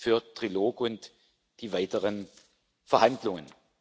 für den Trilog und die weiteren Verhandlungen.